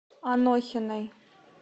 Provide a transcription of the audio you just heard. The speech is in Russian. анохиной